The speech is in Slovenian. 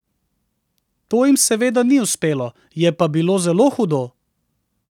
To jim seveda ni uspelo, je pa bilo zelo hudo!